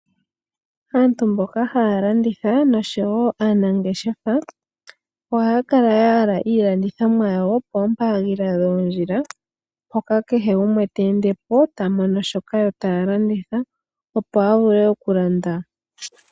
Aantu mboka haya landitha nosho wo aanangeshefa, ohaya kala ya yala iilandithomwa yawo poompaandinda dhoo ndjila. Mpoka kehe gumwe ta ende po, ta mono shoka yo taya landitha opo a vule oku landa.